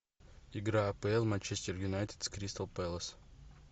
игра апл манчестер юнайтед с кристал пэлас